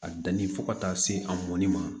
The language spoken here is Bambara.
A danni fo ka taa se a mɔnni ma